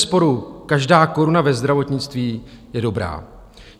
Bezesporu každá koruna ve zdravotnictví je dobrá.